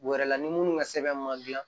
U yɛrɛ la ni minnu ka sɛbɛn ma dilan